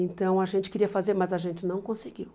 Então, a gente queria fazer, mas a gente não conseguiu.